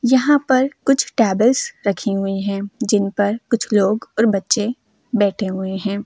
यहाँ पर कुछ टेबल्स रखी हुए है जिन पर कुछ लोग और बच्चे बैठे हुए है।